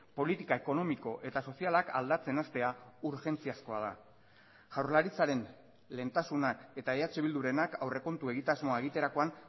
politika ekonomiko eta sozialak aldatzen hastea urgentziazkoa da jaurlaritzaren lehentasunak eta eh bildurenak aurrekontu egitasmoa egiterakoan